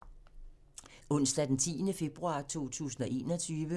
Onsdag d. 10. februar 2021